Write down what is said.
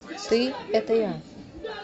ты это я